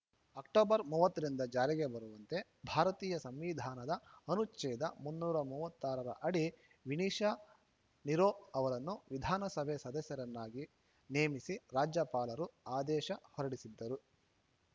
October ಮೂವತ್ತು ರಿಂದ ಜಾರಿಗೆ ಬರುವಂತೆ ಭಾರತೀಯ ಸಂವಿಧಾನದ ಅನುಚ್ಛೇದ ಮುನ್ನೂರ ಮೂವತ್ತ್ ಮೂರ ರ ಅಡಿ ವಿನಿಷಾ ನಿರೋ ಅವರನ್ನು ವಿಧಾನಸಭೆ ಸದಸ್ಯರನ್ನಾಗಿ ನೇಮಿಸಿ ರಾಜ್ಯಪಾಲರು ಆದೇಶ ಹೊರಡಿಸಿದ್ದರು